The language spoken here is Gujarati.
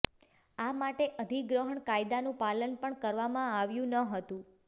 આ માટે અધિગ્રહણ કાયદાનું પાલન પણ કરવામાં આવ્યું નહોતું